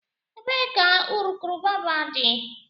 Ebee ka urukurubụba dị?